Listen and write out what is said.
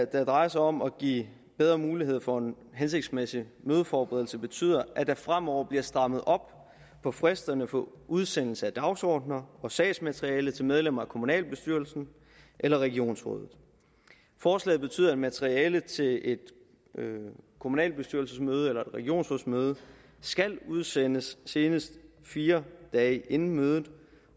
der drejer sig om at give bedre muligheder for en hensigtsmæssig mødeforberedelse betyder at der fremover bliver strammet op på fristerne for udsendelse af dagsordener og sagsmateriale til medlemmer af kommunalbestyrelsen eller regionsrådet forslaget betyder at materialet til et kommunalbestyrelsesmøde eller regionsrådsmøde skal udsendes senest fire dage inden mødet